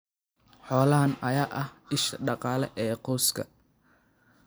Xoolahan ayaa ah isha dhaqaale ee qoyska.